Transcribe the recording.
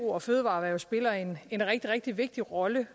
og fødevareerhverv spiller en en rigtig rigtig vigtig rolle